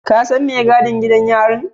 Ka san mai gadin gidan yarin?